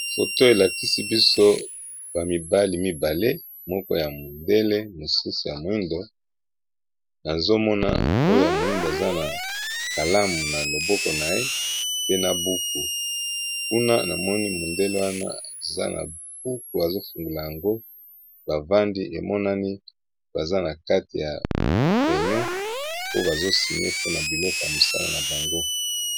Photo oyo elakisi biso bana ya mibali mibale, moko aza mundélé, mosusu azali bongo moto mohindo